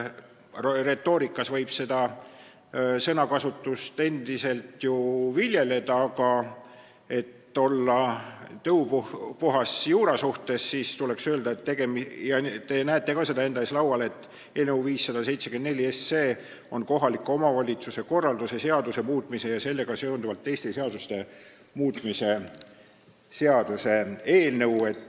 Retoorikas võib sellist sõnakasutust endiselt viljeleda, aga et olla juura suhtes tõupuhas, tuleb öelda, et eelnõu 574 – te näete seda ka enda ees laual – on kohaliku omavalitsuse korralduse seaduse muutmise ja sellega seonduvalt teiste seaduste muutmise seaduse eelnõu.